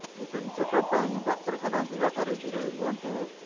routine check up ପାଇଁ ଡାକ୍ତରଖାନା ଯିବାଠାରୁ ଦୂରେଇ ରୁହନ୍ତୁ